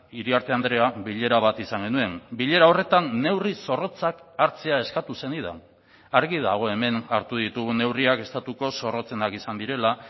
iriarte andrea bilera bat izan genuen bilera horretan neurri zorrotzak hartzea eskatu zenidan argi dago hemen hartu ditugun neurriak estatuko zorrotzenak izan direla